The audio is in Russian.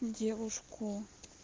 девушку